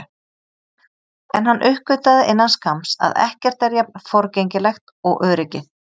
En hann uppgötvaði innan skamms að ekkert er jafn forgengilegt og öryggið.